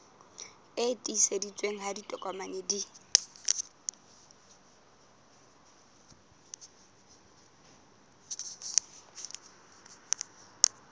e tiiseditsweng ha ditokomane di